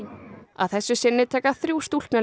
að þessu sinni taka þrjú